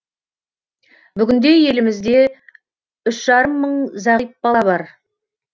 бүгінде елімізде үш жарым мың зағип бала бар